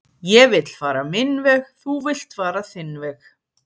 ég vill fara minn veg þú villt fara þinn veg